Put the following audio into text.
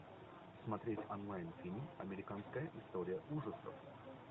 смотреть онлайн фильм американская история ужасов